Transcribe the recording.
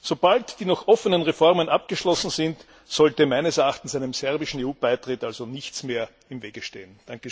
Sobald die noch offenen Reformen abgeschlossen sind, sollte meines Erachtens einem serbischen EU Beitritt also nichts mehr im Wege stehen.